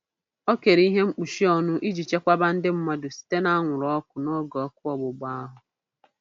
O kere ihe mkpuchi ọnụ iji chekwaba ndị mmadụ site n'anwụrụ ọkụ n'oge ọkụ ọgbụgba ahụ.